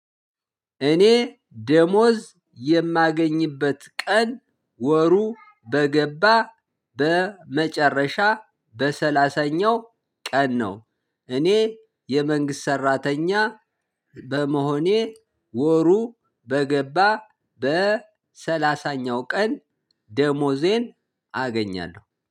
እኔ ደመወዝ የማገኝበት ቀን ወሩ በገባ በመጨረሻ በሰላሳኛው ቀን ነው። እኔ የ መንግስት ሰራተኛ በመሆኔ ወሩ በገባ በ ሰላሳኛው ቀን ደመወዜን አገኛለሁ